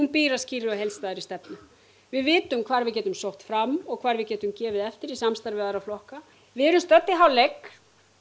býr að skýrri og heildstæðri stefnu við vitum því hvar við getum sótt fram og hvar við getum gefið eftir í samstarfi við aðra flokka við erum stödd í hálfleik